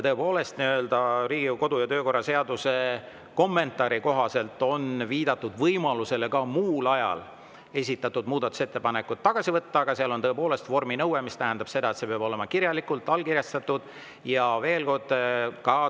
Tõepoolest, Riigikogu kodu‑ ja töökorra seaduse kommentaari kohaselt on viidatud võimalusele esitatud muudatusettepanekud ka muul ajal tagasi võtta, aga seal on vorminõue, mis tähendab seda, et see peab olema kirjalikult ja allkirjastatud.